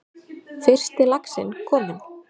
Fyrsti laxinn kominn